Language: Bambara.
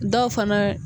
Dɔw fana